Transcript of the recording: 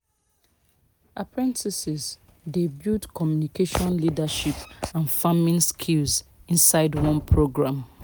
apprentices dey build communication leadership and farming skills inside one programme